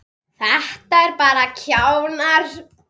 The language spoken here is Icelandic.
Þetta eru bara kjánar.